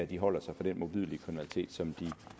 de holder sig fra den modbydelige kriminalitet som de